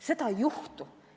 Seda ei juhtu!